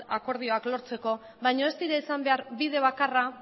akordioak lortzeko baina ez dira izan behar bide bakarra